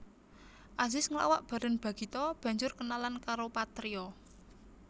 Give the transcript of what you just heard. Azis nglawak bareng Bagito banjur kenalan karo Patrio